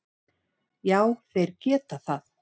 Já þeir geta það.